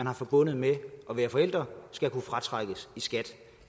er forbundet med at være forældre skal kunne fratrækkes i skat